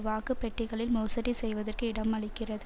வாக்கு பெட்டிகளில் மோசடி செய்வதற்கு இடம் அளிக்கிறது